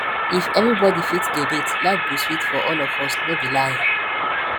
if everybody fit donate life go sweet for all of us no be lie